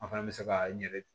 An fana bɛ se ka n yɛrɛ